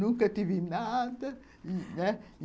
Nunca tive nada... né?